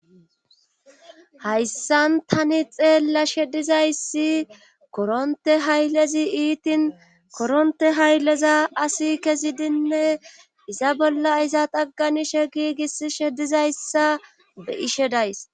hayssan tani xeella sheddizayssi koronte haylezi iitin koronte haylleza asi kezidinne iza bolla iza xagganishe giigis she dizayssa be,ishe days